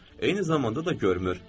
Eyni zamanda da görmür.